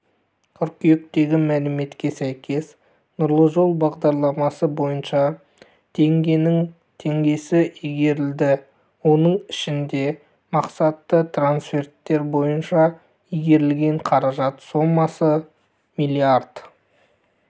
қыркүйектегі мәліметке сәйкес нұрлы жол бағдарламасы бойынша теңгенің теңгесі игерілді оның ішінде мақсатты трансферттер бойынша игерілген қаражат сомасы млрд